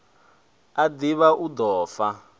a ḓivha hu ḓo fa